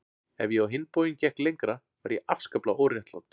Ef ég á hinn bóginn gekk lengra var ég afskaplega óréttlát.